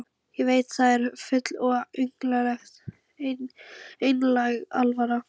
Ég veit að þér er full og einlæg alvara.